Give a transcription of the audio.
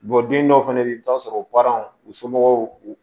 den dɔw fɛnɛ be yen i bi taa sɔrɔ baaraw u somɔgɔw